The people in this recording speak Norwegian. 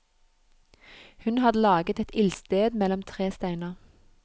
Hun hadde laget et ildsted mellom tre steiner.